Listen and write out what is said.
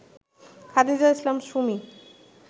Khadija Islam Sumi